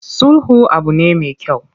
Sulhu abu ne me kyau.